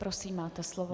Prosím, máte slovo.